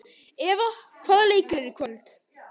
Eva, hvaða leikir eru í kvöld?